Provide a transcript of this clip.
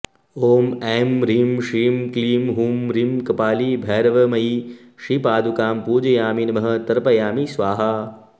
ॐ ऐं ह्रीं श्रीं क्रीं हूं ह्रीं कपाली भैरवमयी श्रीपादुकां पूजयामि नमः तर्पयामि स्वाहा